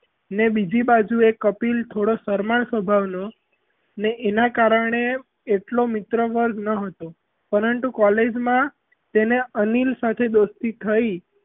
ને બીજી બાજુ એ કપિલ થોડો શરમાળ સ્વભાવનો ને એનાં કારણે એટલો મિત્ર વર્ગ ન હતો પરંતુ college માં તેને અનિલ સાથે દોસ્તી થયી.